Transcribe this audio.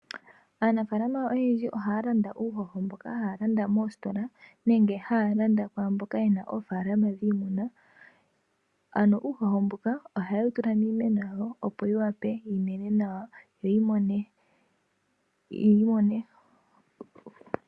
Aanafaala oyendji oha landa uuhoho mboka haya landa moositola nenge haya landa kwaamboka yena oofaalama dhiimuna. Uuhoho mbuka oha ye wutula miimeno yawo opo yiwape yimene nawa.